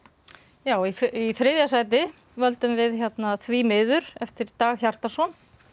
já í þriðja sæti völdum við því miður eftir Dag Hjartarson